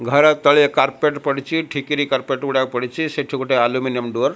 ଘର ତଳେ କାର୍ପେଟ ପଡିଚି। ଠିକିରି କାର୍ପେଟ୍ ଗୁଡାକ ପଡିଚି। ସେଠୁ ଗୋଟେ ଆଲୁମିନିଅମ ଡୋର ।